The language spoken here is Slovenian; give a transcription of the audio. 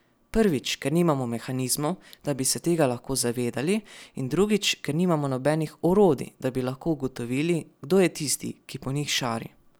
Prvič, ker nimamo mehanizmov, da bi se tega lahko zavedali, in drugič, ker nimamo nobenih orodij, da bi lahko ugotovili, kdo je tisti, ki po njih šari.